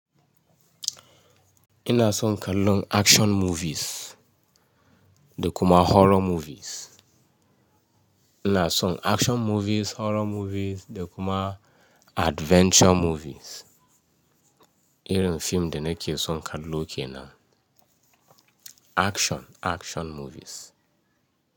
Ina son kalon action movies, ina son action movies horror movies da kuma adventure movies. Irim fim da na ke son kallo kenan action movies.